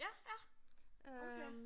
Ja ja okay